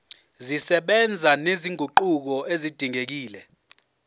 zisebenza nezinguquko ezidingekile